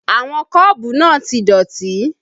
Àwọn kọ́ọ̀bù náà ti dọ̀tí